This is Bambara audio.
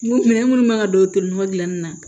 Minɛn minnu man don tolina gilanni na